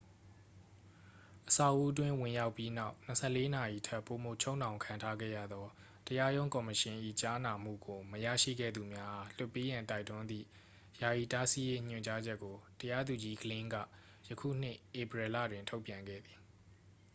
အဆောက်အဦးအတွင်း ဝင်ရောက်ပြီးနောက် 24 နာရီထက်ပိုမိုချုပ်နှောင်ခံထားခဲ့ရသော တရားရုံးကော်မရှင်၏ ကြားနာမှုကို မရရှိခဲ့သူများအား လွှတ်ပေးရန် တိုက်တွန်းသည့် ယာယီတားဆီးရေးညွှန်ကြားချက်ကို တရားသူကြီး glynn ကယခုနှစ် ဧပြီလတွင် ထုတ်ပြန်ခဲ့သည်